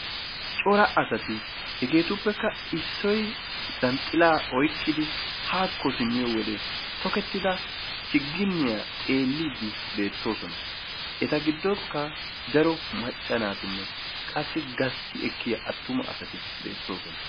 Cora asati hegeetuppekka issoy zanxilaa oyikkidi haako simmiyo wode toketida chiginniya xeelliiddi beettoosona. Eta giddonkka daro macca naatinne qassi gasti ekkiya atuma asati beettoosona.